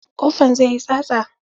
Ƙofan zai yi tsatsa.